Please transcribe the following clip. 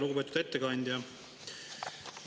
Lugupeetud ettekandja!